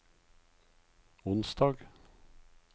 onsdag